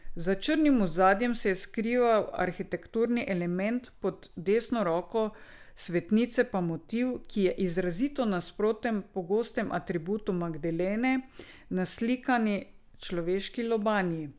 Za črnim ozadjem se je skrival arhitekturni element, pod desno roko svetnice pa motiv, ki je izrazito nasproten pogostemu atributu Magdalene, naslikani človeški lobanji.